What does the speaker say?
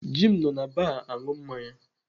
Jim nọ na baa aṅụ mmanya.